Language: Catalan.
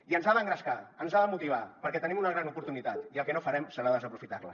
i ens ha d’engrescar ens ha de motivar perquè tenim una gran oportunitat i el que no farem serà desaprofitar la